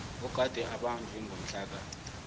ogade ubanjwe ngomhlaka